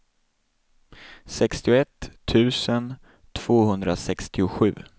sextioett tusen tvåhundrasextiosju